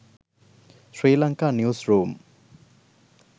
sri lanka news room